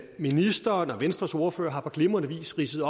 ministeren og venstres ordfører har på glimrende vis ridset